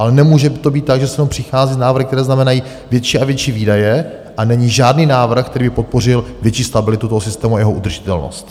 Ale nemůže to být tak, že sem přichází s návrhy, které znamenají větší a větší výdaje, a není žádný návrh, který by podpořil větší stabilitu toho systému a jeho udržitelnost.